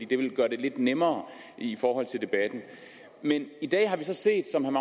det ville gøre det lidt nemmere i forhold til debatten men i dag har vi så set som herre